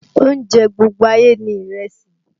Oúnjẹ gbogbo ayé ni ìrẹsì